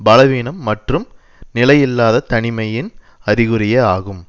பலவீனம் மற்றும் நிலையில்லாத தனிமையின் அறிகுறியே ஆகும்